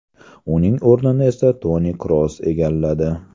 Uning o‘rnini esa Toni Kroos egalladi.